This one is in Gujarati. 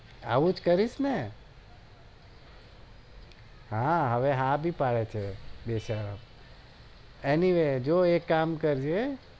આવું જ કરીશ ને હા હવે હા ભી પડે છે બેશરમ